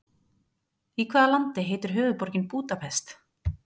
Í hvaða landi heitir höfuðborgin Búdapest?